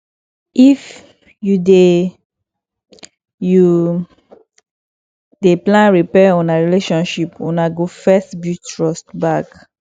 if you dey you dey plan repair una relationship una go first build trust back